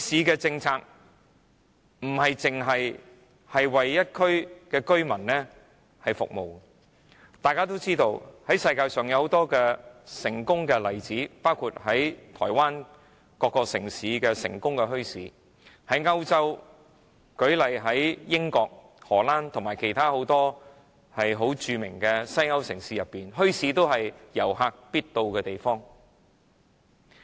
墟市不僅是為一區居民服務，大家都知道，世界上有很多出名的墟市，台灣各個城市都有成功的墟市，英國、荷蘭和其他很多著名的歐洲城市，墟市是遊客必到之處。